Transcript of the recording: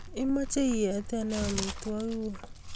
imache iete ne amitwog'ik guuk